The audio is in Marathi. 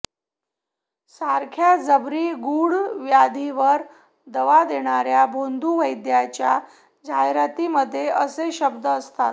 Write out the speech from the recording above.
सारख्या जबरी गूढ व्याधीवर दवा देणाऱ्या भोंदू वैदूंच्या जाहिरातीमध्ये असे शब्द असतात